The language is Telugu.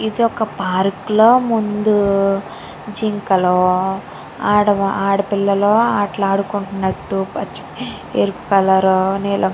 ఇది ఒక పార్క్ ల ముందు జింకలు ఆడపిల్లలు అట లాడుతున్నటు ఎరుపు కలర్ నీలం --